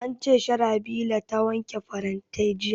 An ce Sharhabila ta wanke farantai jiya